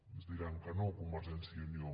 ens diran que no convergència i unió